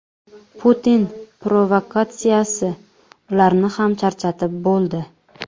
Putin provokatsiyasi ularni ham charchatib bo‘ldi.